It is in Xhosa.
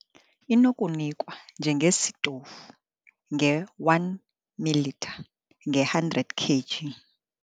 Inokunikwa njengesitofu nge-1 ml nge-100 kg.